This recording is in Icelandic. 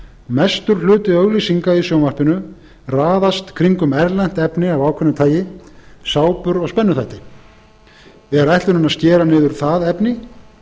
mestur hluti auglýsinga í sjónvarpinu raðast kringum erlent efni af ákveðna tagi sápur og spennuþætti er ætlunin að skera niður það efni